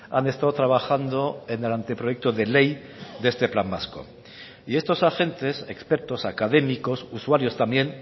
han estado trabajando en el anteproyecto de ley de este plan vasco y estos agentes expertos académicos usuarios también